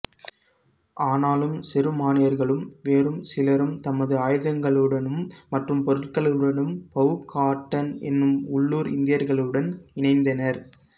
ஆனாலும் செருமானியர்களும் வேறும் சிலரும் தமது ஆயுதங்களுடனும்ம் மற்றும் பொருட்களுடனும் பவுகாட்டன் என்ற உள்ளூர் இந்தியர்களுடன் இணைந்தனர்